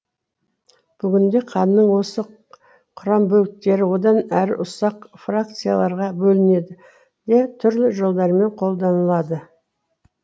бүгінде қанның осы құрамбөліктері одан әрі ұсақ фракцияларға бөлінеді де түрлі жолдармен қолданылады